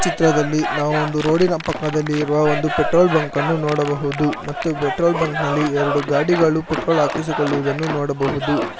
ಚಿತ್ರದಲ್ಲಿ ನಾವು ಒಂದು ರೋಡಿನ ಪಕ್ಕದಲ್ಲಿ ಇರುವ ಒಂದು ಪೆಟ್ರೋಲ್ ಬಂಕ್ ಅನ್ನು ನೋಡಬಹುದು ಮತ್ತು ಪೆಟ್ರೋಲ್ ಬಂಕ್ ನಲ್ಲಿ ಎರಡು ಗಾಡಿಗಳು ಪೆಟ್ರೋಲ್ ಹಾಕಿಸಿಕೊಳ್ಳುವುದನ್ನು ನೋಡಬಹುದು.